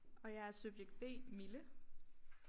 Og jeg er subjekt B Mille